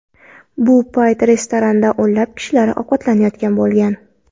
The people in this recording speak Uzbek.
Bu paytda restoranda o‘nlab kishilar ovqatlanayotgan bo‘lgan.